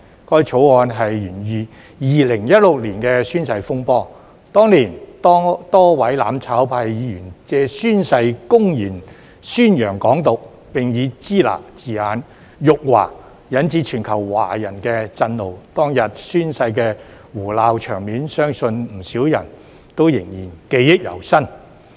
該法案是源自2016年的宣誓風波，當年多位"攬炒派"議員借宣誓公然宣揚"港獨"，並以"支那"字眼辱華，引致全球華人震怒，當天宣誓的胡鬧場面，相信不少人仍然記憶猶新。